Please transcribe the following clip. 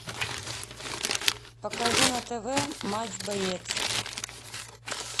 покажи на тв матч боец